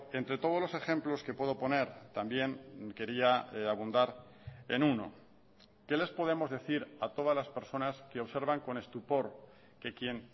entre todos los ejemplos que puedo poner también quería abundar en uno qué les podemos decir a todas las personas que observan con estupor que quién